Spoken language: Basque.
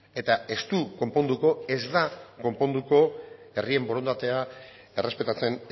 eta ez du konponduko ez da konponduko herrien borondatea errespetatzen